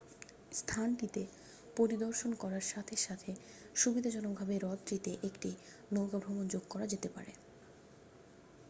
স্থানটিতে পরিদর্শন করার সাথে সুবিধাজনকভাবে হ্রদটিতে একটি নৌকা ভ্রমণ যোগ করা যেতে পারে